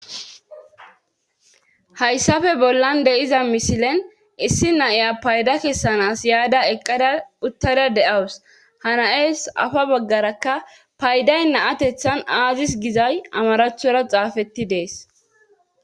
hayssafe bollan de7iza misilen issi naiya payda kessanas yaada eqqada uttada de7awus hanayes afa baggarakka payday naatethan aazis gizay amaraathora xaafetti dees